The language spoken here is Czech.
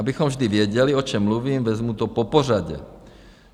Abychom vždy věděli, o čem mluvím, vezmu to popořadě.